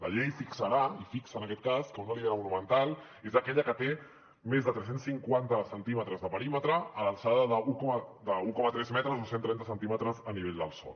la llei fixarà i fixa en aquest cas que una olivera monumental és aquella que té més de tres cents i cinquanta centímetres de perímetre i l’alçada d’un coma tres metres o cent trenta centímetres a nivell del sòl